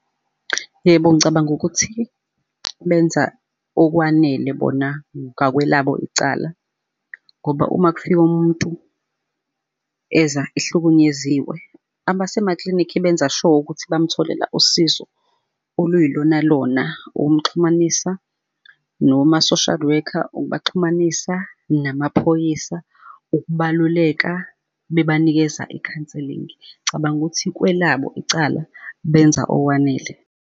Yebo, ngicabanga ukuthi benza okwanele bona ngakwelabo icala ngoba uma kufika umuntu eza ehlukunyeziwe, abasemaklinikhi benza sure ukuthi bamtholele usizo oluyilona lona ukumxhumanisa no ma-social worker, ukubaxhumanisa namaphoyisa, ukubaluleka, bebanikeza i-counseling. Cabanga ukuthi kwelabo icala benza okwanele.